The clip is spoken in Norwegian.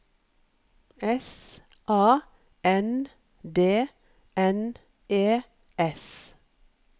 S A N D N E S